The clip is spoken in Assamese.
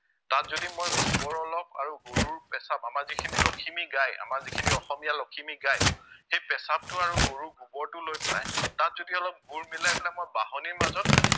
তাত যদি মই গোবৰ অলপ আৰু গৰুৰ পেচাব আমাৰ যিখিনি লখিমী গাই আমাৰ যিখিনি অসমীয়া লখিমী গাই সেই পেচাবটো আৰু গৰুৰ গোবৰটো লৈ পেলাই তাত যদি অলপ গুৰ মিলাই পেলাই মই বাঁহনীৰ মাজত